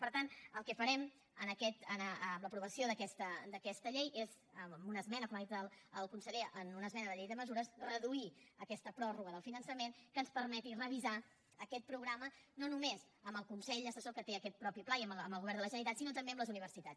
per tant el que farem amb l’aprovació d’aquesta llei és amb una esmena com ha dit el conseller en una esmena a la llei de mesures reduir aquesta pròrroga del finançament que ens permeti revisar aquest programa no només amb el consell assessor que té aquest mateix pla i amb el govern de la generalitat sinó també amb les universitats